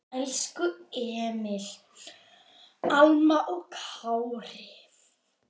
Elsku Emil, Alma og Kári.